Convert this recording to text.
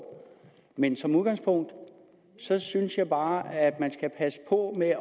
men som udgangspunkt synes synes jeg bare at man skal passe på med